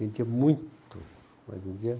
Vendia muito, mas vendia.